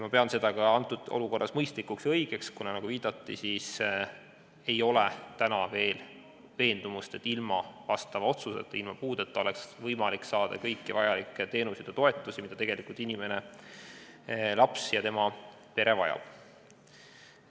Ma pean seda praeguses olukorras mõistlikuks ja õigeks, kuna – nagu viidati – ei ole täna veel veendumust, et ilma vastava otsuseta, ilma puudeta oleks võimalik saada kõiki vajalikke teenuseid ja toetusi, mida laps ja tema pere tegelikult vajavad.